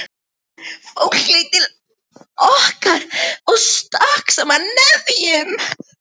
Fólk leit til okkar og stakk saman nefjum.